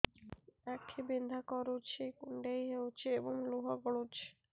ଆଖି ବିନ୍ଧା କରୁଛି କୁଣ୍ଡେଇ ହେଉଛି ଏବଂ ଲୁହ ଗଳୁଛି